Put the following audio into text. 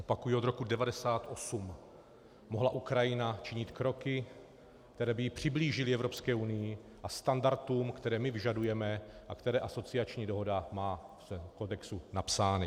Opakuji, od roku 1998 mohla Ukrajina činit kroky, které by ji přiblížily Evropské unii a standardům, které my vyžadujeme a které asociační dohoda má v kodexu napsány.